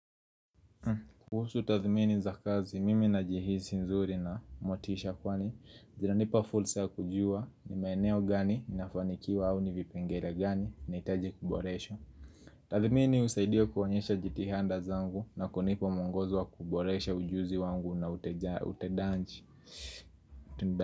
Kuhusu tathmini za kazi mimi najihisi nzuri na motisha kwani zinanipa fursa ya kujua ni maeneo gani ninafanikiwa au ni vipengele gani nahitaji kuboresha Tathmini husaidia kuonyesha jitihada zangu na kunipa mwongozo wa kuboresha ujuzi wangu na utendaji.